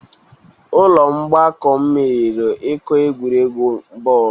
Ụlọ ọgbakọ m meriri iko egwuregwu bọọlụ